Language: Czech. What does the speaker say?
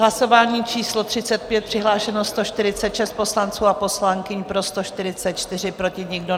Hlasování číslo 35, přihlášeno 146 poslanců a poslankyň, pro 144, proti nikdo.